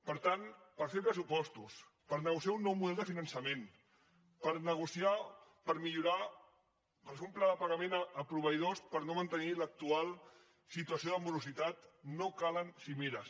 per tant per fer pressupostos per negociar un nou model de finançament per nego ciar per millorar per fer un pla de pagament a proveïdors per no mantenir l’actual situació de morositat no calen cimeres